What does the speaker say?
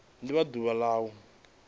do vha ḓuvha la u